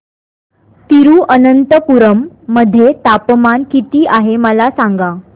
तिरूअनंतपुरम मध्ये तापमान किती आहे मला सांगा